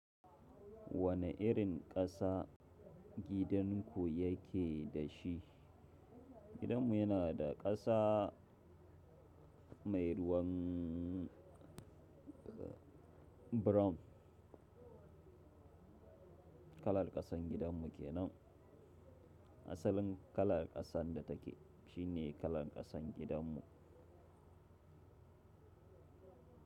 Wane irin ƙasa gidan ku yake da shi? Gidanmu yana da ƙasa mai ruwan brown. Kalar ƙasan gidanmu kenan. Asalin kalar ƙasan da take, shi ne kalar ƙasan gidanmu.